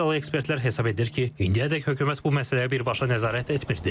Rusiyalı ekspertlər hesab edir ki, indiyədək hökumət bu məsələyə birbaşa nəzarət etmirdi.